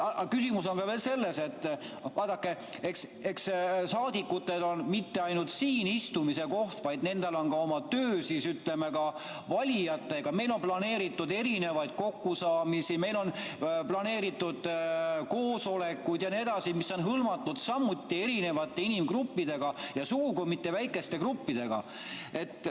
Küsimus on veel selles, et vaadake, saadikutel ei ole mitte ainult siin istumise koht, vaid nendel on ka oma töö, ütleme, ka valijatega, meil on planeeritud erinevaid kokkusaamisi, meil on planeeritud koosolekuid jne, mis on hõlmatud samuti erinevate inimgruppidega ja sugugi mitte väikeste gruppidega.